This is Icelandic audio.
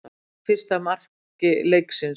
Keimlíkt fyrsta marki leiksins